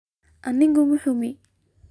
Anigu ma xukumo